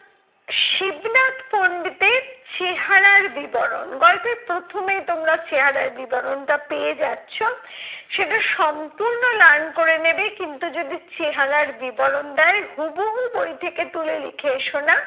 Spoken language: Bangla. শিবনাথ পন্ডিতের চেহারার বিবরণ। গল্পের প্রথমেই তোমরা চেহারার বিবরণটা পেয়ে যাচ্ছ। সেটা সম্পূর্ণ learn করে নেবে কিন্তু যদি চেহারার বিবরণ দেয় হুবহু বই থেকে তুলে লিখে এসো না